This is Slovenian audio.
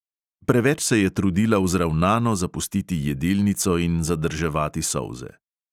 Preveč se je trudila vzravnano zapustiti jedilnico in zadrževati solze.